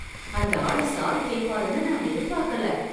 அந்த ஆளு சாரி கேட்பாருனு நான் எதிர்பார்க்கல